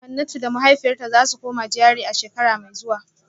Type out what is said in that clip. Hanatu da mahaifiyarta za su koma GRA a shekara mai zuwa